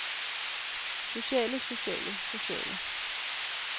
sociale sociale sociale